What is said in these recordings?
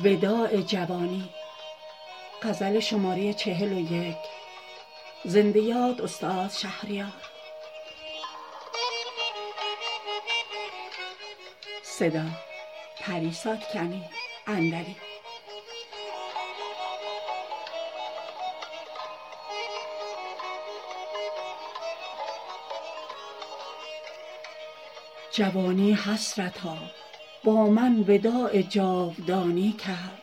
جوانی حسرتا با من وداع جاودانی کرد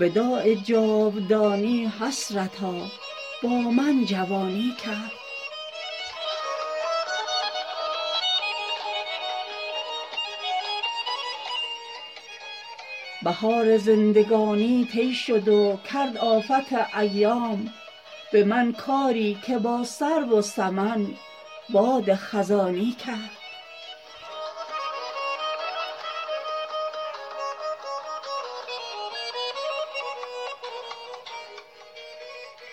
وداع جاودانی حسرتا با من جوانی کرد بهار زندگانی طی شد و کرد آفت ایام به من کاری که با سرو و سمن باد خزانی کرد رفیق نیمه راهی چون مرا در خواب نوشین دید به لالای جرس آهنگ کوچ کاروانی کرد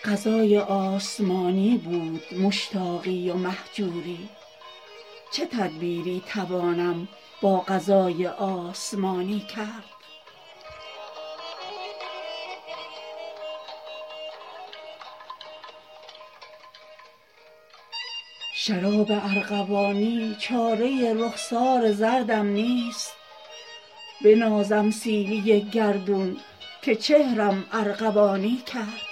قضای آسمانی بود مشتاقی و مهجوری چه تدبیری توانم با قضای آسمانی کرد شراب ارغوانی چاره رخسار زردم نیست بنازم سیلی گردون که چهرم ارغوانی کرد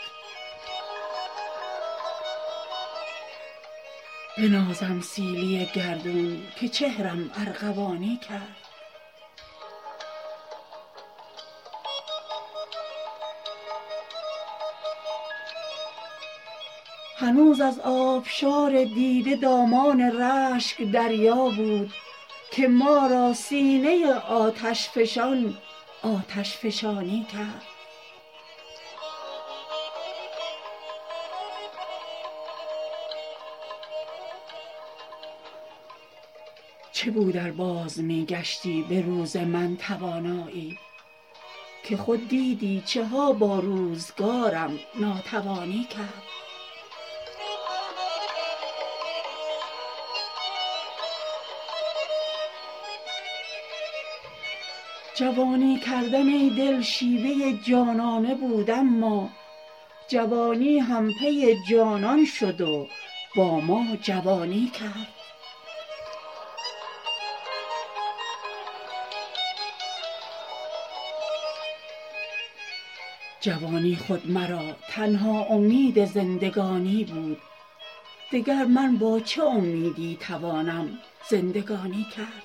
کمان ابروی من چون تیر رفت و چرخ چوگانی به زیر بار غم بالای چون تیرم کمانی کرد فلک را ترکش از تیر اینقدر دانم که خالی ماند دگر با این دل خونین چه گویم آنچه دانی کرد هنوز از آبشار دیده دامان رشک دریا بود که ما را سینه آتشفشان آتشفشانی کرد چه بود ار باز می گشتی به روز من توانایی که خود دیدی چه ها با روزگارم ناتوانی کرد به خون دل چو من می ریختم در جام میخواران فغان زآن نرگس مستی که با من سرگرانی کرد جوانی کردن ای دل شیوه جانانه بود اما جوانی هم پی جانان شد و با ما جوانی کرد عزیزان ماه من تا در محاق چاه هجران شد غم آن یوسف ثانی مرا یعقوب ثانی کرد جوانی خود مرا تنها امید زندگانی بود دگر من با چه امیدی توانم زندگانی کرد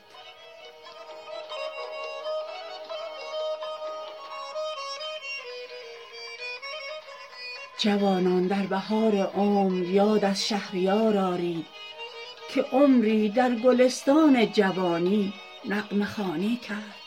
جوانان در بهار عمر یاد از شهریار آرید که عمری در گلستان جوانی نغمه خوانی کرد